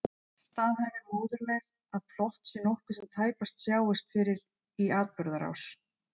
Staðhæfir móðurleg að plott sé nokkuð sem tæpast sjáist fyrir í atburðarás.